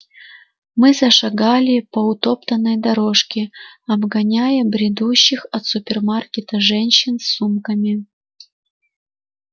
мы зашагали по утоптанной дорожке обгоняя бредущих от супермаркета женщин с сумками